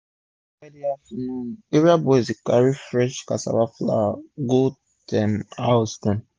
everi friday afternoon area boys dey carry fresh cassava flour go ten house dem